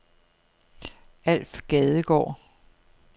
Alf Gadegaard